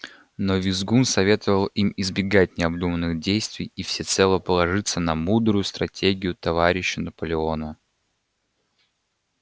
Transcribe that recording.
но визгун советовал им избегать необдуманных действий и всецело положиться на мудрую стратегию товарища наполеона